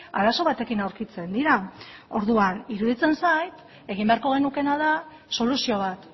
arazo batekin aurkitzen dira orduan iruditzen zait egin beharko genukeena da soluzio bat